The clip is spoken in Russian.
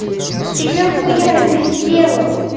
ты нахуя это сделал